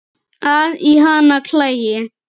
að í hana klæi